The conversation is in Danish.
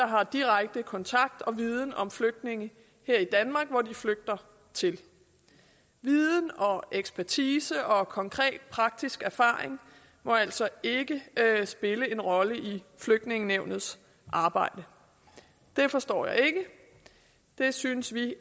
har direkte kontakt og viden om flygtninge her i danmark som de flygter til viden og ekspertise og konkret praktisk erfaring må altså ikke spille en rolle i flygtningenævnets arbejde det forstår jeg ikke det synes vi i